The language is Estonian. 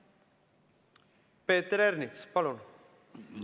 Peeter Ernits, palun!